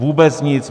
Vůbec nic.